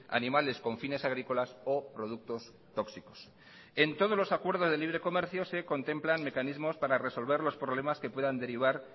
animales con fines agrícolas o productos tóxicos en todos los acuerdos de libre comercio se contemplan mecanismos para resolver los problemas que puedan derivar